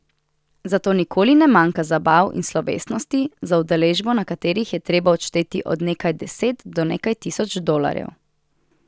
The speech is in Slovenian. Zato nikoli ne manjka zabav in slovesnosti, za udeležbo na katerih je treba odšteti od nekaj deset do nekaj tisoč dolarjev.